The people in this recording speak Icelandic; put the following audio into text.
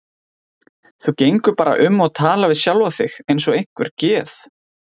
Þú gengur bara um og talar við sjálfa þig eins og einhver geð